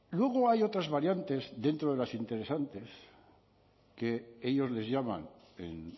luego hay otras variantes dentro de las interesantes que ellos les llaman en